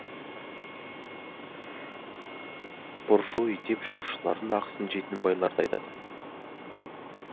буржуй деп жұмысшылардың ақысын жейтін байларды айтады